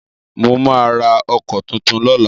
Mo máa ra ọkọ́ tuntun lọ́la.